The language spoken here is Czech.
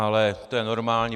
Ale to je normální.